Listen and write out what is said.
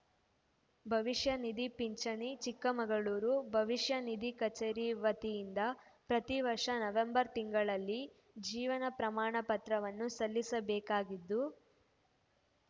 ಭವಿಷ್ಯ ನಿಧಿ ಪಿಂಚಣಿ ಚಿಕ್ಕಮಗಳೂರು ಭವಿಷ್ಯ ನಿಧಿ ಕಚೇರಿ ವತಿಯಿಂದ ಪ್ರತಿ ವರ್ಷ ನವೆಂಬರ್‌ ತಿಂಗಳಲ್ಲಿ ಜೀವನ ಪ್ರಮಾಣ ಪತ್ರವನ್ನು ಸಲ್ಲಿಸಬೇಕಾಗಿದ್ದು